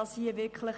Bei den Standorten